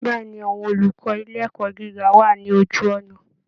Bẹ́ẹ̀ ni, àwọn olùkọ́ ilé ẹ̀kọ́ gíga wà ní ojú ọ̀nà